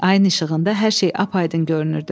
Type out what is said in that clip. Ayın işığında hər şey apaaydın görünürdü.